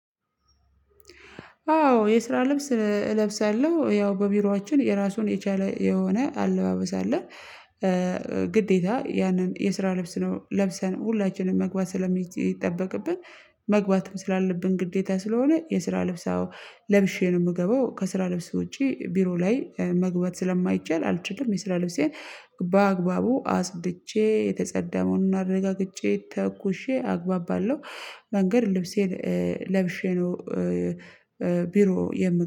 አዎ የስራ ልብስ እለብሳለሁ ያው በቢሮአችን የራሱን የቻለ የሆነ አለባበስ አለ። ግዴታ ያንን የስራ ልብስ ነው ለብሰን ሁላችንም መግባት ስለሚጠበቅብን መግባትም ስላለብን ግዴታ ስለሆነ የስራ ልብስ። ለብሼ ነው የምገባው ከስራ ልብስ ውጪ ቢሮ ላይ መግባት ስለማይቻል አልችልም የስራ ልብሴን በአግባቡ አጽድቼ የተጸዳ መሆኑን አረጋጬ ተኩሼ አግባባለሁ። መንገድ ልብሴን ለብሼ ነው። ቢሮ የምት